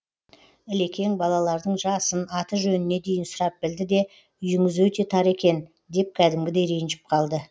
ілекең балалардың жасын аты жөніне дейін сұрап білді де үйіңіз өте тар екен деп кәдімгідей ренжіп қалды